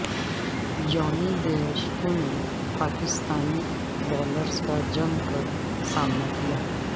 جونی Bairstow نے Pakistani bowlers کا جم کر سامنا کیا